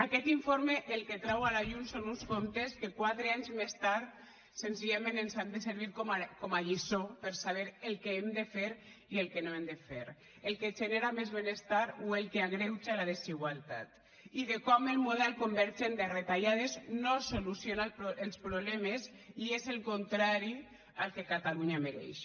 aquest informe el que trau a la llum són uns comptes que quatre anys més tard senzillament ens han de servir com a lliçó per saber el que hem de fer i el que no hem de fer el que genera més benestar o el que agreuja la desigualtat i de com el model convergent de retallades no soluciona els problemes i és el contrari del que catalunya mereix